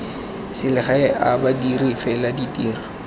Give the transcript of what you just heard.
selegae a badiri fela ditiro